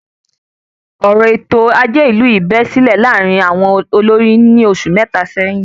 Ọ̀rọ èto ajé ìlú yìí bẹ́ sílẹ̀ láàárín àwọn olórí ní oṣù mẹta sẹ́yín